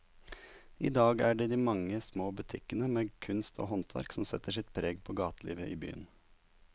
I dag er det de mange små butikkene med kunst og håndverk som setter sitt preg på gatelivet i byen.